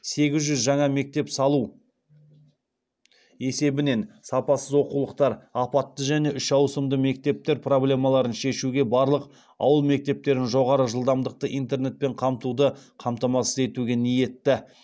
сегіз жүз жаңа мектеп салу есебінен сапасыз оқулықтар апатты және үш ауысымды мектептер проблемаларын шешуге барлық ауыл мектептерін жоғары жылдамдықты интернетпен қамтуды қамтамасыз етуге ниетті